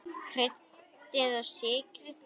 Kryddið og sykrið.